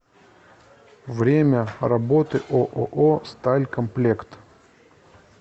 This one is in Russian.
время работы ооо сталькомплект